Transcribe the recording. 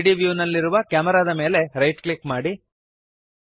3ದ್ ವ್ಯೂನಲ್ಲಿರುವ ಕ್ಯಾಮೆರಾದ ಮೇಲೆ ರೈಟ್ ಕ್ಲಿಕ್ ಮಾಡಿರಿ